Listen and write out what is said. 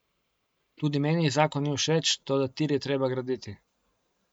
Tudi meni zakon ni všeč, toda tir je treba graditi.